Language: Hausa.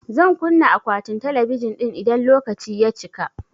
Zan kunna akwatin talabijin ɗin idan lokaci ya cika